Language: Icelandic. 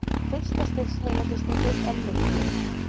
Fyrsta stigs heilahristingur er mildur.